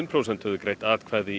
prósent höfðu greitt atkvæði